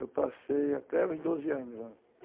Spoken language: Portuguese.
Eu passei até os doze anos lá.